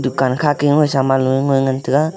dukan kha ke saman lo ye ngoi ngan tega.